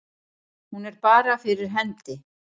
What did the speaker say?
Hún er bara fyrir hendi.